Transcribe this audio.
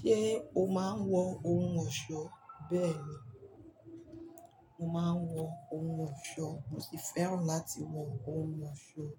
Ṣé o máa ń wọ ohun ọ̀ṣọ́? Bẹ́ẹ̀ ni, mo máa ń wọ ohun ọ̀ṣọ́. Mo sì fẹ́ràn láti wọ ohun ọ̀ṣọ́,